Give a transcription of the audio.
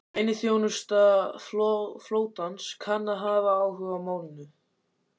Leyniþjónusta flotans kann að hafa áhuga á málinu